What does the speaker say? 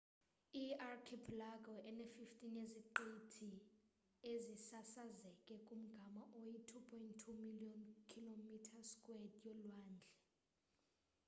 iyi archipelago ene-15 yeziqithi ezisasazeke kumgama oyi-2.2 million km2 yolwandle